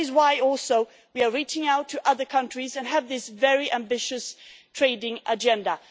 it. That is why we are also reaching out to other countries and have this very ambitious trading agenda.